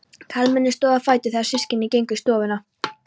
Karlmennirnir stóðu á fætur þegar systkinin gengu í stofuna.